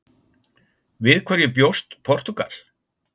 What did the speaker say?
Við hverju bjóst Portúgal?